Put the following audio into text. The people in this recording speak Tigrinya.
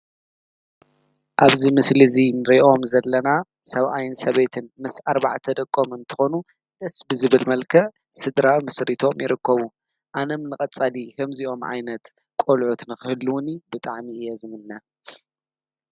ኣብዚ ምስሊ እዚ ንሪኦም ዘለና ሰብኣይን ሰበይትን ምስ ኣርባዕተ ደቆም እንትኾኑ ደስ ብዝብል መልክዕ ስድራ መስሪቶም ይርከቡ። ኣነም ንቀፃሊ ከምዚኦም ዓይነት ቆልዑት ንክህልዉኒ ብጣዕሚ እየ ዝምነ ።